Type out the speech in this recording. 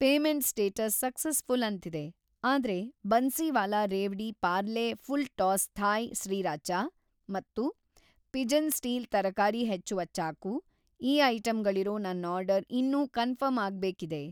Payment status successful ಅಂತಿದೆ, ಆದ್ರೆ Bansiwala revdi Parle full toss Thai sriracha ಮತ್ತು ಪಿಜನ್‌ ಸ್ಟೀಲ್ ತರಕಾರಿ ಹೆಚ್ಚುವ ಚಾಕು ಈ ಐಟಂಗಳಿರೋ ನನ್‌ ಆರ್ಡರ್‌ ಇನ್ನೂ ಕನ್ಫರ್ಮ್‌ ಆಗ್ಬೇಕಿದೆ.